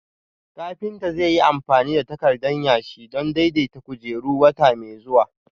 Kafinta zai yi amfani da takardan yashi don daidaita kujerun wata mai zuwa